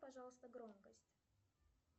пожалуйста громкость